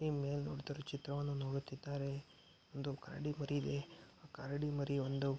ಈ ಮೇಲೆ ನೋಡತ್ತಿರುವ ಚಿತ್ರವನ್ನು ನೋಡುತ್ತಿದ್ದಾರೆ ಒಂದು ಕರಡಿ ಮರಿಲಿ ಕರಡಿ ಮರಿ ಒಂದು --